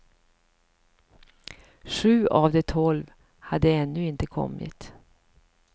Sju av de tolv hade ännu inte kommit.